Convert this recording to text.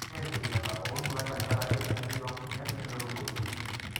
ore enkimita onduat tenkaraki entoi onkonyek nemetumoyu.